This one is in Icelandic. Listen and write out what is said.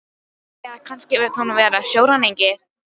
Eða kannski vill hún vera sjóræningi?